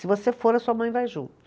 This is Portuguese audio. Se você for, a sua mãe vai junto.